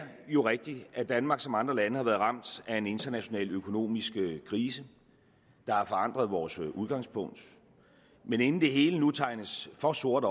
jo rigtigt at danmark som andre lande har været ramt af en international økonomisk krise der har forandret vores udgangspunkt men inden det hele nu tegnes for sort